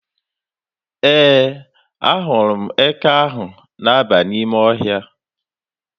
Ee, ahụrụ m eke ahụ na-aba n'ime ọhịa.